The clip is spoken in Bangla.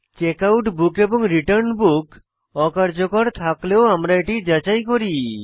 Checkout book এবং Return Book অকার্যকর থাকলে ও আমরা এটি যাচাই করি